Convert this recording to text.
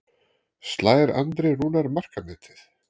Slær Andri Rúnar markametið?